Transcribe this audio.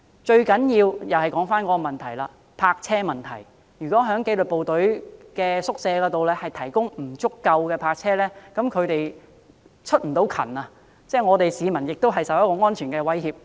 最重要的仍然是泊車問題，如果紀律部隊宿舍未能提供足夠泊車位，以致紀律部隊人員未能出勤，會令市民受到安全威脅。